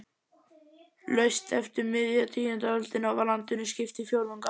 Laust eftir miðja tíundu öldina var landinu skipt í fjórðunga.